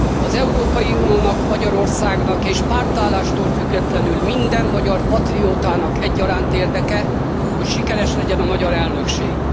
Az Európai Uniónak és Magyarországnak, és pártállástól függetlenül minden magyar patriótának egyaránt érdeke, hogy sikeres legyen a magyar elnökség.